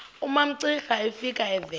umamcira efika evela